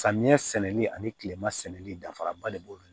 Samiyɛ sɛnɛli ani kilema sɛnɛli dafara ba de b'olu bolo